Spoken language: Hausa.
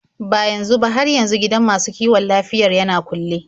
Ba yanzu ba, har yanzu gidan masu kiwon lafiyar yana kulle.